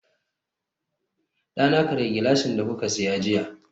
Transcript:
dana karya gilashin da kuka siya jiya